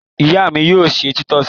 Ìyá mi yóò se títọ́sì.